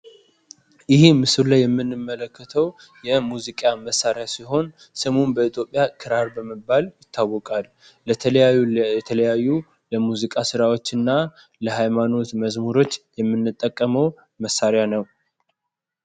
ይህ ምስሉ ላይ የምንመለከተው የሙዚቃ መሳሪያ ሲሆን ስሙም በኢትዮጵያ ክራር በመባል ይታወቃል። ለተለያዩ የሙዚቃ ስራዎችንና ለሃይማኖት መዝሙሮች የምንጠቀመው መሳሪያ ነው።